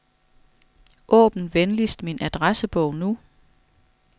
Åbn venligst min adressebog nu.